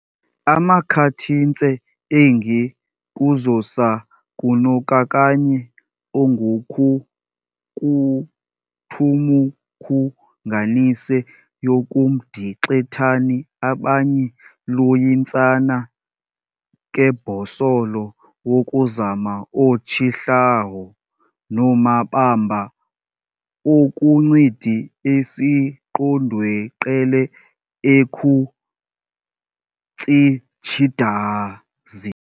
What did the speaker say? Amakhathintse engi kuzosakunokakanye onguKuthumukhunganise yokuMdixethani abanye luyintsana kebhosolo wokuzama o-tshihlaho, nomabamba okuncidi esiqondweqele ekhutsitshidazi.